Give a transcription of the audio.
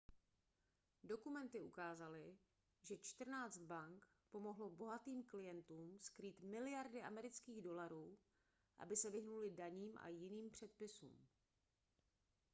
dokumenty ukázaly že čtrnáct bank pomohlo bohatým klientům skrýt miliardy amerických dolarů aby se vyhnuli daním a jiným předpisům